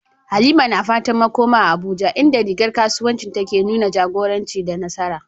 Halima na fatan makoma a Abuja, inda rigar kasuwancinta ke nuna jagoranci da nasara.